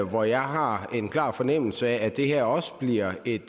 hvor jeg har en klar fornemmelse af at det her også bliver et